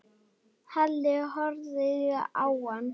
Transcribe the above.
Halli horfði á hann.